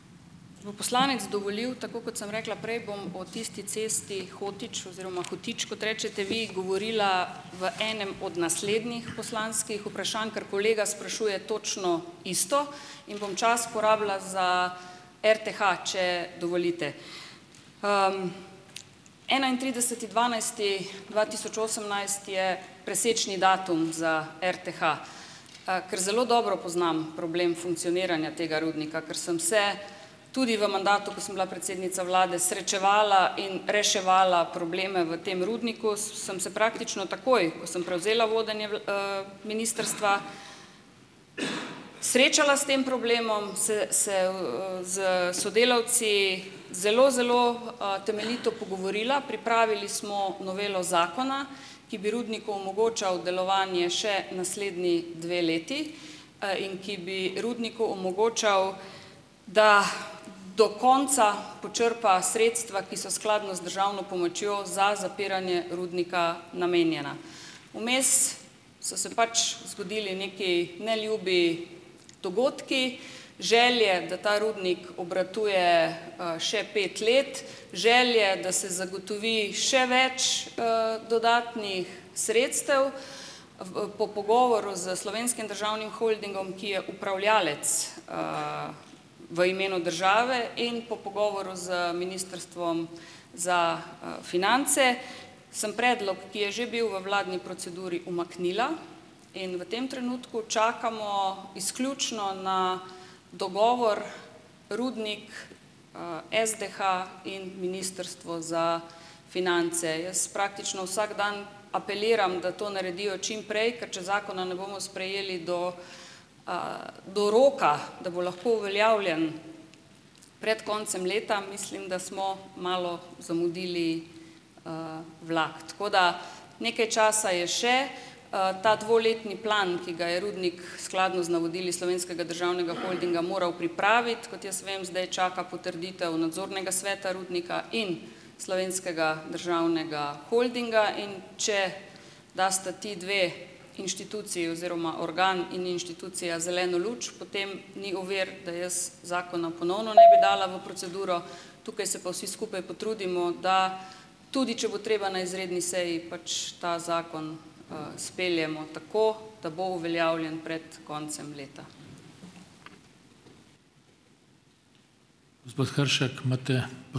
Bo poslanec dovolil, tako kot sem rekla prej, bom o tisti cesti Hótič oziroma Hòtič, kot rečete vi, govorila v enem od naslednjih poslanskih vprašanj, ker kolega sprašuje točno isto. In bom čas porabila za RTH, če dovolite. Enaintrideseti dvanajsti dva tisoč osemnajst je presečni datum za RTH. Ker zelo dobro poznam problem funkcioniranja tega rudnika, ker sem se tudi v mandatu, ko sem bila predsednica vlade srečevala in reševala probleme v tem rudniku, sem se praktično takoj, ko sem prevzela vodenje ministrstva, srečala s tem problemom, se se s sodelavci zelo zelo temeljito pogovorila. Pripravili smo novelo zakona, ki bi rudniku omogočal delovanje še naslednji dve leti in ki bi rudniku omogočal, da do konca počrpa sredstva, ki so skladno z državno pomočjo za zapiranje rudnika namenjena. Vmes so se pač zgodili neki neljubi dogodki. Želje, da ta rudnik obratuje še pet let, želje, da se zagotovi še več dodatnih sredstev. Po pogovoru s Slovenskim državnim holdingom, ki je upravljalec v imenu države in po pogovoru z Ministrstvom za finance sem predlog, ki je že bil v vladni proceduri, umaknila. In v tem trenutku čakamo izključno na dogovor rudnik, SDH in Ministrstvo za finance. Jaz praktično vsak dan apeliram, da to naredijo čim prej, ker če zakona ne bomo sprejeli do do roka, da bo lahko uveljavljen pred koncem leta, mislim, da smo malo zamudili vlak. Tako da nekaj časa je še, ta dvoletni plan, ki ga je Rudnik skladno z navodili Slovenskega državnega holdinga moral pripraviti, kot jaz vem, zdaj čaka potrditev nadzornega sveta Rudnika in Slovenskega državnega holdinga. In če dasta ti dve inštituciji oziroma organ in inštitucija zeleno luč, potem ni ovir, da jaz zakona ponovno ne bi dala v proceduro. Tukaj se pa vsi skupaj potrudimo, da tudi, če bo treba na izredni seji, pač ta zakon speljemo tako, da bo uveljavljen pred koncem leta.